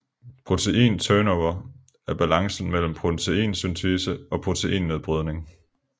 Protein turnover er balancen mellem proteinsyntese og proteinnedbrydning